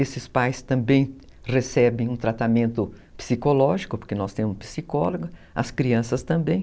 Esses pais também recebem um tratamento psicológico, porque nós temos um psicólogo, as crianças também.